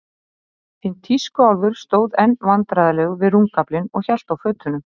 Hinn tískuálfurinn stóð enn vandræðalegur við rúmgaflinn og hélt á fötunum.